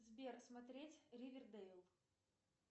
сбер смотреть ривердейл